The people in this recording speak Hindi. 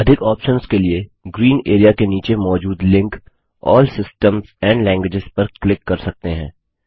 अधिक ऑप्शंस के लिए ग्रीन एरिया के नीचे मौजूद link all systems and language पर क्लिक कर सकते हैं